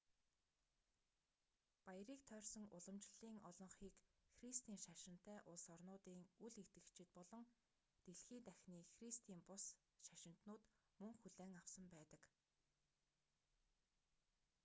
баярыг тойрсон уламжлалын олонхийг христийн шашинтай улс орнуудын үл итгэгчид болон дэлхий дахины христийн бус шашинтнууд мөн хүлээн авсан байдаг